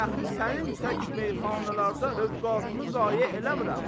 Dəxi sənin tək meyxanalarda övqatı zayə eləmirəm.